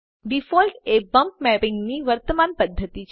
default એ bump મેપિંગની વર્તમાન પદ્ધતિ છે